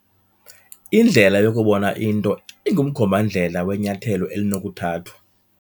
Indlela yokubona into ingumkhomba-ndlela wenyathelo elinokuthathwa.